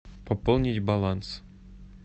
пополнить баланс